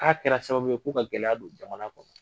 Ka kɛra sababu ye ko ka gɛlɛya don jamana kɔnɔ.